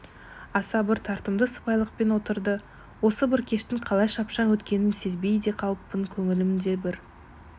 аса бір тартымды сыпайылықпен отырды осы бір кештің қалай шапшаң өткенін сезбей де қалыппын көңілімде бір